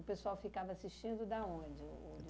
O pessoal ficava assistindo da onde o o